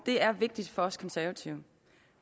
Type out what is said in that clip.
er vigtigt for os konservative